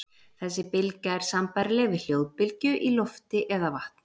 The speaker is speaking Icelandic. Þessi bylgja er sambærileg við hljóðbylgju í lofti eða vatni.